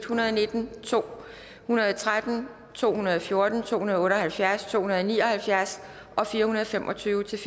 hundrede og nitten to hundrede og tretten to hundrede og fjorten to hundrede og otte og halvfjerds to hundrede og ni og halvfjerds og fire hundrede og fem og tyve til